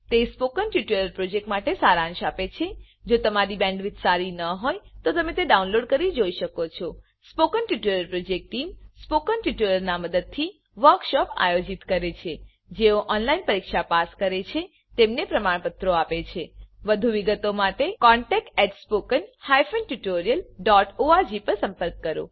તે spoken tutorial પ્રોજેક્ટનો સારાંશ આપે છે જો તમારી બેન્ડવિડ્થ સારી ન હોય તો તમે ડાઉનલોડ કરી તે જોઈ શકો છો spoken tutorial project team spoken ટ્યુટોરીયલોનાં મદદથી વર્કશોપોનું આયોજન કરે છે જેઓ ઓનલાઈન પરીક્ષા પાસ કરે છે તેમને પ્રમાણપત્રો આપે છે વધુ વિગત માટે કૃપા કરી contactspoken tutorialorg પર સંપર્ક કરો